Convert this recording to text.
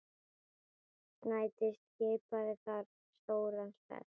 Snædís skipaði þar stóran sess.